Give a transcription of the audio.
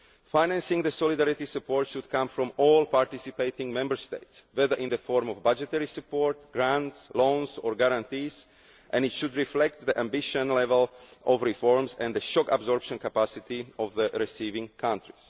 Financing the solidarity support should come from all participating Member States, whether in the form of budgetary support, grants, loans or guarantees and it should reflect the ambition level of reforms and the shock absorption capacity of the receiving country.